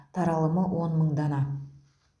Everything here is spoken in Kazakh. таралымы он мың дана